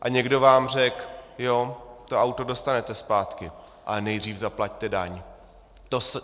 A někdo vám řekl: Jo, to auto dostanete zpátky, ale nejdřív zaplaťte daň.